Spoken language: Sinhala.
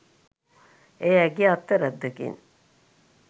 එය ඇගේ අත්වැරැද්දකින්